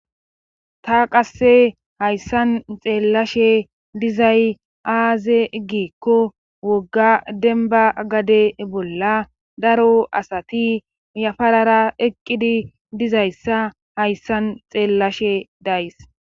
ta qasse hayssan xeellashe dizay aaze giikko wogga denba gade bolla daro asati yafarara eqqidi dizayssa hayssan xeellashe days